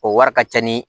O wari ka ca ni